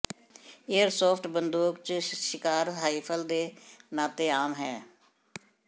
airsoft ਬੰਦੂਕ ਜ ਸ਼ਿਕਾਰ ਰਾਈਫਲ ਦੇ ਨਾਤੇ ਆਮ ਹੈ